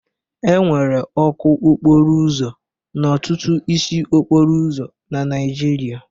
Enwere ọkụ okporo ụzọ n'ọtụtụ isi okporo ụzọ na Naijiria.